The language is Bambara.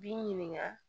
B'i ɲininka